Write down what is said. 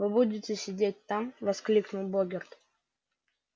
вы будете сидеть там воскликнул богерт